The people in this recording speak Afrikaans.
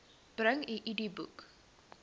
bring u idboek